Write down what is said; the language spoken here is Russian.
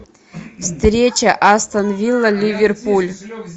встреча астон вилла ливерпуль